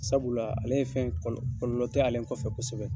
Sabula ale fɛn kɔlɔ kɔlɔlɔ tɛ ale kɔfɛ kosɛbɛ